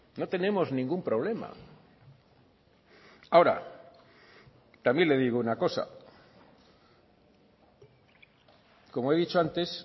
no tenemos ningún problema ahora también le digo una cosa como he dicho antes